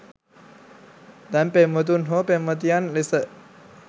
දැන් පෙම්වතුන් හෝ පෙම්වතියන් ලෙස